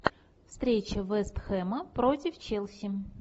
встреча вест хэма против челси